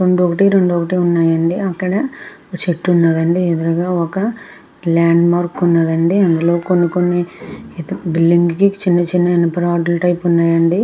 రెండు వకటి రెండు వకటి ఉనది. చెట్టు ఉనది అన్ని ల్యాండ్ మార్క్ ఉనది. అన్ని ఇక్కడ ఇక్కడ అన మనకు రోడ్స్ కనిపెస్తునే--